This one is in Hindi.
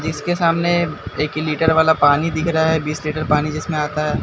इसके सामने एक लीटर वाला पानी दिख रहा है बीस लीटर पानी जिसमें आता है।